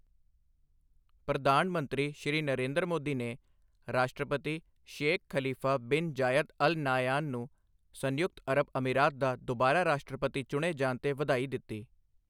ਪ੍ਰਧਾਨ ਮੰਤਰੀ, ਸ਼੍ਰੀ ਨਰਿੰਦਰ ਮੋਦੀ ਨੇ ਰਾਸ਼ਟਰਪਤੀ Sheikh Khalifa bin Zayed Al Nahyan ਨੂੰ ਸੰਯੁਕਤ ਅਰਬ ਅਮੀਰਾਤ ਦਾ ਦੁਬਾਰਾ ਰਾਸ਼ਟਰਪਤੀ ਚੁਣੇ ਜਾਣ ਤੇ ਵਧਾਈ ਦਿੱਤੀ ਹੈ।